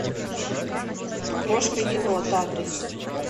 крошка енот адрес